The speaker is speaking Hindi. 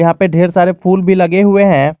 यहां पे ढेर सारे फूल भी लगे हुए हैं।